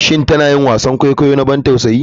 Shin tana yin wasan kwaikwayo na ban tausayi?